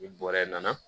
Ni bɔrɛ nana